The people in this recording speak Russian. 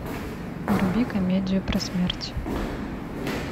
вруби комедию про смерть